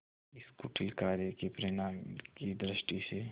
इस कुटिल कार्य के परिणाम की दृष्टि से